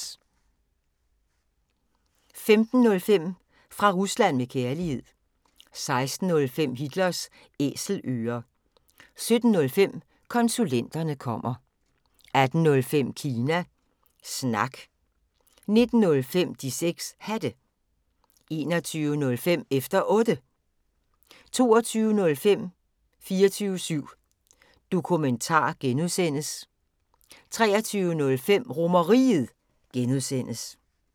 15:05: Fra Rusland med Kærlighed 16:05: Hitlers Æselører 17:05: Konsulenterne kommer 18:05: Kina Snak 19:05: De 6 Hatte 21:05: Efter Otte 22:05: 24syv Dokumentar (G) 23:05: RomerRiget (G)